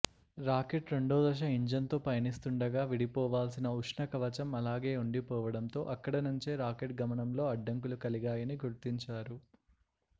rocket రెండోదశ ఇంజన్తో పయనిస్తుండగా విడిపోవాల్సిన ఉష్ణకవచం అలాగే ఉండిపోవడంతో అక్కడ నుంచే రాకెట్ గమనంలో అడ్డంకులు కలిగాయని గుర్తించారు